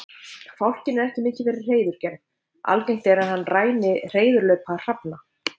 Fálkinn er ekki mikið fyrir hreiðurgerð, algengt er að hann ræni hreiðurlaupa hrafna.